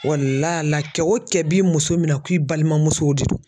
kɛ o kɛ b'i muso minɛ ko i balimamusow de don.